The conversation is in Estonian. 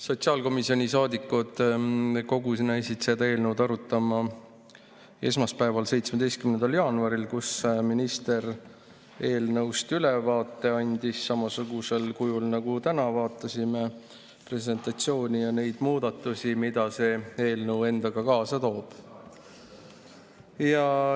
Sotsiaalkomisjoni liikmed kogunesid seda eelnõu arutama esmaspäeval, 17. jaanuaril, kui minister andis eelnõust ülevaate samasugusel kujul nagu täna, me vaatasime presentatsiooni ja neid muudatusi, mida see eelnõu endaga kaasa toob.